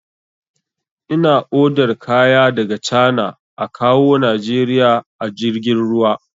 Ina odar kaya daga cana a kawwo najeriya a jirgin ruwa